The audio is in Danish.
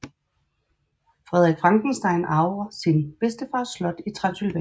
Frederick Frankenstein arver sin bedstefars slot i Transsylvanien